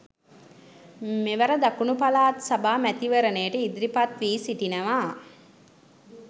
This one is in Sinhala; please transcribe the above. මෙවර දකුණු පළාත් සභා මැතිවරණයට ඉදිරිපත් වී සිටිනවා